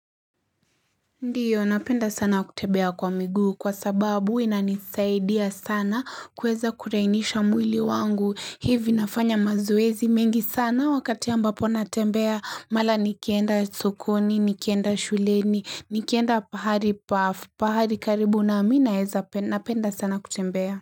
Ndiyo napenda sana kutembea kwa miguu kwa sababu inanisaidia sana kweza kulainisha mwili wangu hivi nafanya mazoezi mengi sana wakati ambapo natembea mara nikienda sokoni nikienda shuleni nikienda pahali paafu pahari karibu na mimi napenda sana kutembea.